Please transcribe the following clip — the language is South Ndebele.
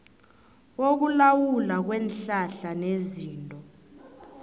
wokulawulwa kweenhlahla nezinto